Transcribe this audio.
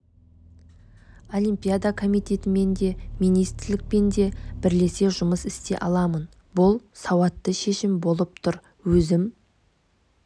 олимпиада комитетімен де министрлікпен де бірлесе жұмыс істей аламын бұл сауатты шешім болып тұр өзім